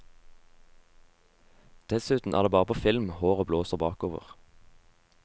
Dessuten er det bare på film håret blåser bakover.